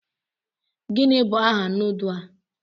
Gịnị bụ aha nudu a?